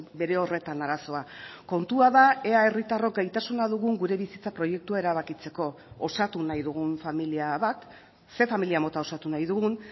bere horretan arazoa kontua da ea herritarrok gaitasuna dugun gure bizitza proiektua erabakitzeko osatu nahi dugun familia bat zein familia mota osatu nahi dugun